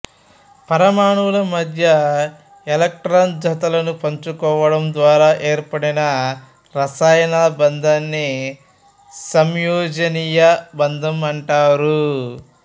పరమాణువుల మధ్య ఎలక్ట్రాన్ జతలను పంచుకోవడం ద్వారా ఏర్పడిన రసాయన బంధాన్ని సమయోజనీయ బంధం అంటారు